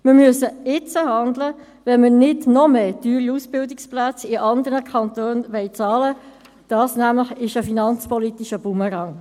Wir müssen jetzt handeln, wenn wir nicht noch mehr teure Ausbildungsplätze in anderen Kantonen bezahlen wollen, denn das ist nämlich ein finanzpolitischer Bumerang.